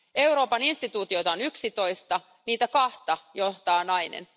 Euroopan instituutioita on 11, niitä kahta johtaa nainen.